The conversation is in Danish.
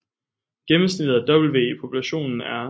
Gennemsnittet af W i populationen er